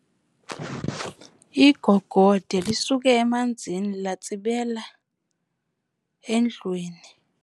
Igogode lisuke emanzini latsibela endlwini.